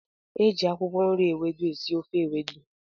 Eji akwụkwọ nri ewedu esị ofe ewedu.